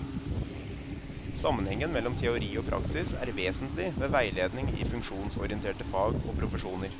Sammenhengen mellom teori og praksis er vesentlig ved veiledning i funksjonsorienterte fag og profesjoner.